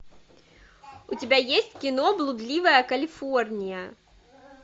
у тебя есть кино блудливая калифорния